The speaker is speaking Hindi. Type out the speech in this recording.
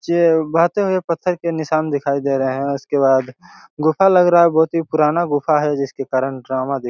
बहुत सारे पत्थर के निशान दिखाई दे रहे हैं उसके बाद गुफा लग रहा हैं बहुत ही पुराना गुफा हैं जिसके कारण डरावना दिख --